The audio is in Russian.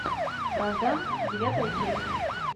вражда девятая часть